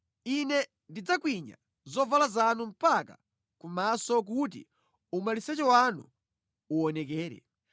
Ine ndidzakwinya zovala zanu mpaka ku maso kuti umaliseche wanu uwonekere.